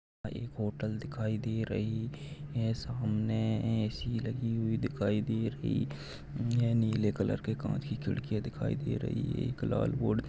एक होटल दिखाई दे रही है सामने ए_सी लगी हुई दिखाई दे रही यहा नीले कलर के काँच की खिडकिया दिखाई दे रही हैं। एक लाल बोर्ड --